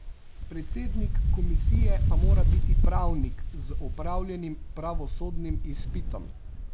Predsednik komisije pa mora biti pravnik z opravljenim pravosodnim izpitom.